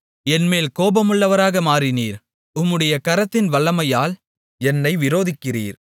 என்மேல் கோபமுள்ளவராக மாறினீர் உம்முடைய கரத்தின் வல்லமையால் என்னை விரோதிக்கிறீர்